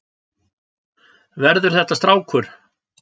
Verður þetta strákur?